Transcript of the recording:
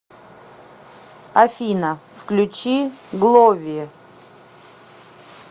афина включи глови